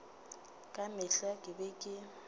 ka mehla ke be ke